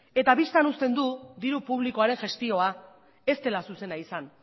bistan uzten du diru publikoaren gestioa ez dela zuzena izan